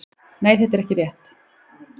Nei það er ekki rétt.